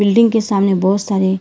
building के सामने बहुत सारे--